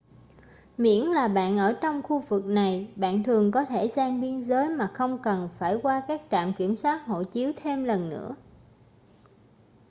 miễn là bạn ở trong khu vực này bạn thường có thể sang biên giới mà không cần phải qua các trạm kiểm soát hộ chiếu thêm lần nữa